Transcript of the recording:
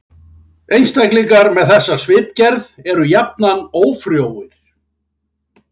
Einstaklingar með þessa svipgerð eru jafnan ófrjóir.